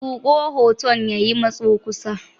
Zuƙo hoton ya yi matso kusa.